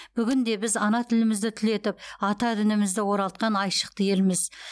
бүгін де біз ана тілімізді түлетіп ата дінімізді оралтқан айшықты елміз